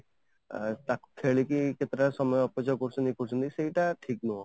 ଆଁ ଖେଳିକି କିଛି ତା ସମୟକେତେ ଟା ସମୟ ଅପଯୋଗ କରୁଛନ୍ତି ଇୟେ କରୁଛନ୍ତି ସେଇଟା ଠିକ ନୁହଁ